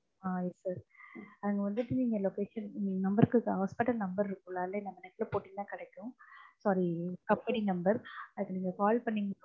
ஆ yes sir அங்க வந்துட்டு நீங்க location க்கு இந்த number க்கு hospital number இருக்குல்ல அதே நீங்க net ல போட்டீங்கன்னா கிடைக்கும் company number அதுக்கு நீங்க call பண்ணிங்கன்னா